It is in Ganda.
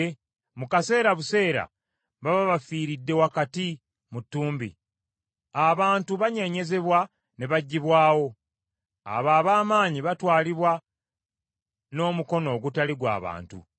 Mu kaseera buseera baba bafiiridde wakati mu ttumbi. Abantu banyeenyezebwa ne baggyibwawo. Abo ab’amaanyi batwalibwa n’omukono ogutali gw’abantu.